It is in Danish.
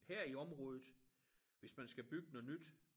Her i området hvis man skal bygge noget nyt